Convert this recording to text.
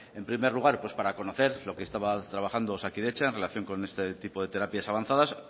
en primer lugar para conocer lo que estaba trabajando osakidetza en relación con este tipo de terapias avanzadas